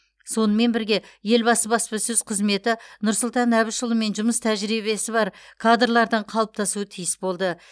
сонымен бірге елбасы баспасөз қызметі нұрсұлтан әбішұлымен жұмыс тәжірибесі бар кадрлардан қалыптасуы тиіс болды